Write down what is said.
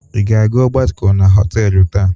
Ị ga-aga ọgbakọ na họtelụ taa?